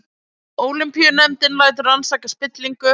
Ólympíunefndin lætur rannsaka spillingu